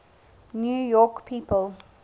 new york people